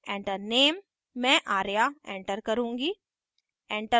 enter name: मैं arya enter करुँगी